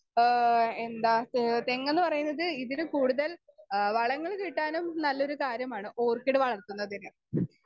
Speaker 2 ആഹ് എന്താ തെ തെങ്ങെന്നുപറയുന്നത് ഇതില്ക്കൂടുതൽ ഏഹ് വളങ്ങൾ കിട്ടാനും നല്ലൊരു കാര്യമാണ് ഓർക്കിഡ് വളർത്തുന്നത്.